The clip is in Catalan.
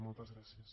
moltes gràcies